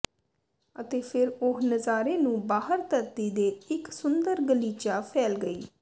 ਅਤੇ ਫਿਰ ਉਹ ਨਜ਼ਾਰੇ ਨੂੰ ਬਾਹਰ ਧਰਤੀ ਦੇ ਇੱਕ ਸੁੰਦਰ ਗਲੀਚਾ ਫੈਲ ਗਈ